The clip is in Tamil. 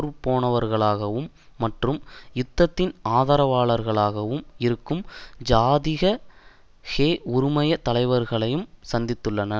பேர்போனவர்களாகவும் மற்றும் யுத்தத்தின் ஆதரவாளர்களாகவும் இருக்கும் ஜாதிக ஹெ உறுமய தலைவர்களையும் சந்தித்துள்ளனர்